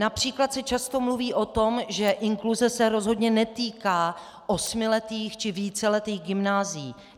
Například se často mluví o tom, že inkluze se rozhodně netýká osmiletých či víceletých gymnázií.